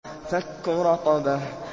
فَكُّ رَقَبَةٍ